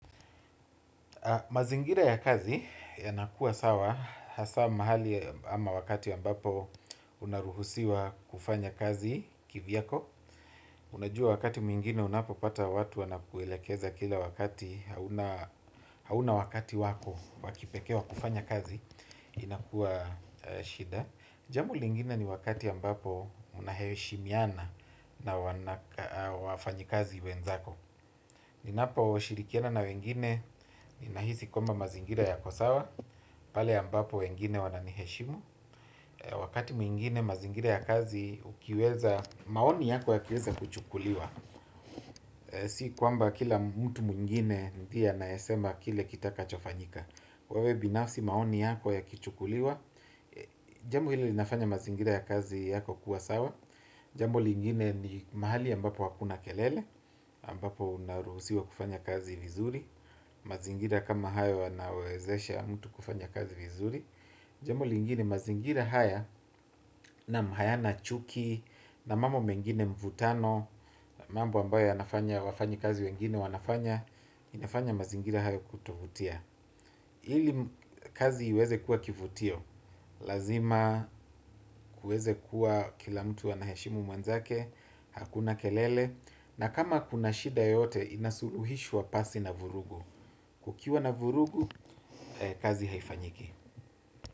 Mazingira ya kazi yanakua sawa, hasaa mahali ama wakati ambapo unaruhusiwa kufanya kazi kivyako. Unajua wakati mwingine unapo pata watu wanakuelekeza kila wakati hauna wakati wako wa kipekee kufanya kazi inakua shida. Jambo lingine ni wakati ambapo unaheshimiana na wafanyi kazi wenzako. Ninapo shirikiana na wengine, ninahisi kwamba mazingira yako sawa, pale ambapo wengine wananiheshimu. Wakati mwingine mazingira ya kazi ukiweza, maoni yako yakiweza kuchukuliwa. Si kwamba kila mtu mwingine ndiye anayesema kile kitakacho fanyika. Kwa wewe binafsi maoni yako yakichukuliwa. Jambo hili linafanya mazingira ya kazi yako kuwa sawa. Jambo lingine ni mahali ambapo hakuna kelele, ambapo unaruhusiwa kufanya kazi vizuri. Mazingira kama haya wanawezesha mtu kufanya kazi vizuri. Jambo lingine mazingira haya naam hayana chuki na mambo mengine mvutano. Mambo ambayo yanafanya wafanyi kazi wengine wanafanya. Inafanya mazingira haya kutovutia. Ili kazi iweze kuwa kivutio. Lazima kuweze kuwa kila mtu anaheshimu mwenzake. Hakuna kelele na kama kuna shida yoyote inasuluhishwa pasi na vurugu. Kukiwa na vurugu, kazi haifanyiki.